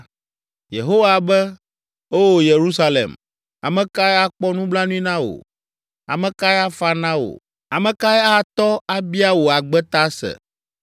Yehowa be, “O Yerusalem, ame kae akpɔ nublanui na wò? Ame kae afa na wò? Ame kae atɔ, abia wò agbe ta se?